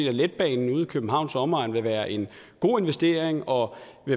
at letbanen ude i københavns omegn vil være en god investering og